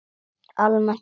Almennt félag